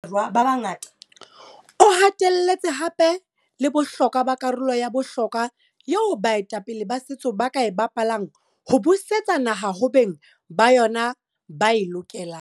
O hatelletse hape le bohlokwa ba karolo ya bohlokwa eo baetapele ba setso ba ka e bapalang ho busetsa naha ho beng ba yona ba e lokelang.